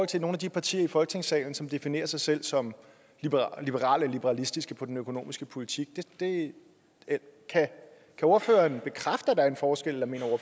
til nogle af de partier i folketingssalen som definerer sig selv som liberale liberalistiske på den økonomiske politik kan ordføreren bekræfte at der er en forskel eller mener